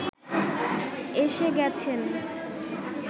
এসে গেছেন